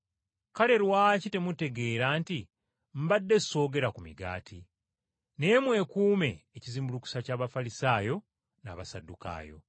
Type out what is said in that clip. Kale lwaki temutegeera nti mbadde ssoogera ku migaati? Naye mwekuume ekizimbulukusa eky’Abafalisaayo n’Abasaddukaayo.”